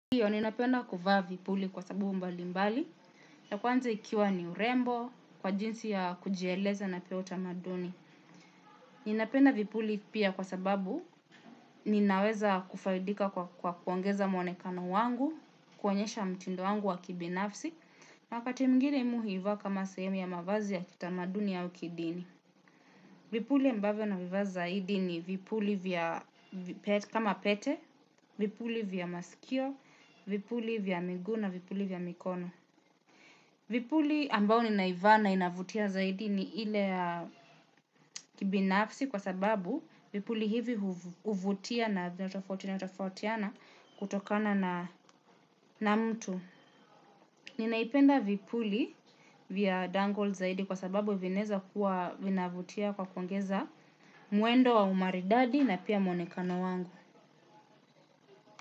Ndiyo, ninapenda kuvaa vipuli kwa sababu mbalimbali. Ya kwanza ikiwa ni urembo kwa jinsi ya kujieleza na pia utamaduni. Ninapenda vipuli pia kwa sababu ninaweza kufaidika kwa kuongeza mwonekano wangu, kuonyesha mtindo wangu wa kibinafsi. Na wakati mwingine mimi huivaa kama sehemu ya mavazi ya kitamaduni au kidini. Vipuli ambavyo navivaa zaidi ni vipuli vya kama pete, vipuli vya masikio, vipuli vya miguu na vipuli vya mikono. Vipuli ambao ninaivaa na inavutia zaidi ni ile ya kibinafsi kwa sababu vipuli hivi huvutia na vinatofautiana tofautiana kutokana na mtu. Ninaipenda vipuli vya dangol zaidi kwa sababu vinaeza kuwa inavutia kwa kuongeza mwendo wa umaridadi na pia mwonekano wangu.